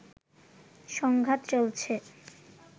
সংঘাত চলছে